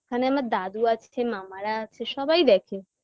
ওখানে আমার দাদু আছে মামারা আছে সবাই দেখে